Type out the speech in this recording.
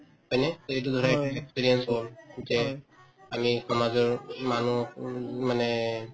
হয়নে to এইটো ধৰা experience experience হল যে আমি সমাজৰ মানুহকো ও মানে